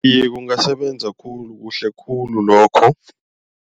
Iye kungasebenza khulu, kuhle khulu lokho.